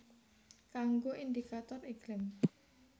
Kanggo indikator iklim